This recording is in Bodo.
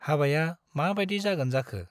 हाबाया मा बाइदि जागोन जाखो !